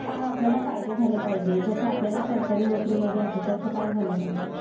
काय आपल्याला फायदे झाले पाहिजेत? जसं आपल्याला सरकारी नोकरी मध्ये आहे तसं काय झालं पाहिजे?